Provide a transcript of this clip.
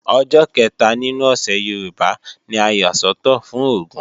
Ọjọ́ kẹta nínú ọ̀sẹ̀ Yorùbá ni a yà sọ́tọ̀ fún Ògún